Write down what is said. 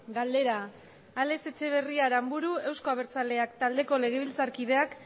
galdera alex etxeberria aranburu euzko abertzaleak taldeko legebiltzarkideak